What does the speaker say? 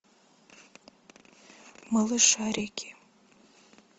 малышарики